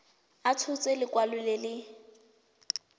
a tshotse lekwalo le le